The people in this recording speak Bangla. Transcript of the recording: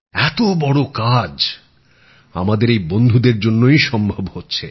এত বড় কাজ আমাদের এই বন্ধুদের জন্যই সম্ভব হচ্ছে